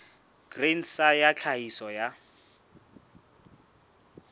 grain sa ya tlhahiso ya